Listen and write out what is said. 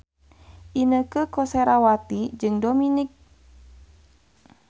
Inneke Koesherawati jeung Dominic West keur dipoto ku wartawan